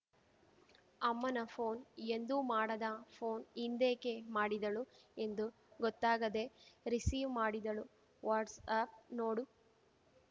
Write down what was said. ಅಮ್ಮನ ಪೋನ್‌ ಎಂದೂ ಮಾಡದ ಪೋನ್‌ ಇಂದೇಕೆ ಮಾಡಿದಳು ಎಂದು ಗೊತ್ತಾಗದೇ ರಿಸೀವ್‌ ಮಾಡಿದಳು ವಾಟ್ಸ್‌ ಆ್ಯಪ್‌ ನೋಡು